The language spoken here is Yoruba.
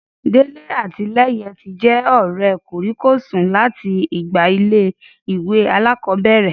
Délé àti Lẹ́yẹ tí jẹ́ ọ̀rẹ́ kòríkòsùn láti ìgbà ilé-ìwé alákọ̀bẹ̀rẹ̀